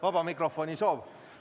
Vaba mikrofoni soov.